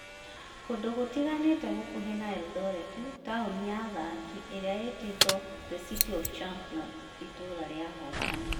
kũndũ gũtiganĩte gũkuhĩ na Eldoret, taũni ya athaki ĩrĩa ĩtĩtwo "The City of Champions" (Itũũra rĩa Ahotani)